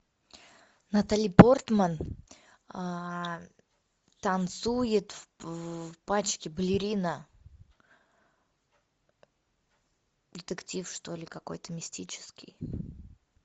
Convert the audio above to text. натали портман танцует в пачке балерина детектив что ли какой то мистический